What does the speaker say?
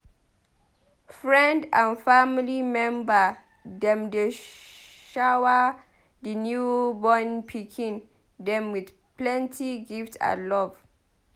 Friend and family member dem dey shower di newborn pikin dem with plenty gift and love.